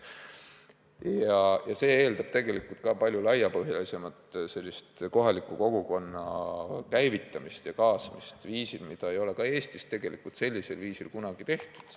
Vaja läheb tegelikult palju laiapõhjalisemat kohaliku kogukonna käivitamist ja kaasamist viisil, mida ei ole Eestis tegelikult sellisel viisil kunagi tehtud.